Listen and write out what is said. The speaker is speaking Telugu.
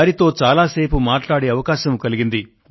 వారితో చాలా సేపు మాట్లాడే అవకాశం కలిగింది